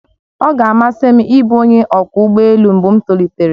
Ọ ga-amasị m ịbụ onye ọkwọ ụgbọ elu mgbe m tolitere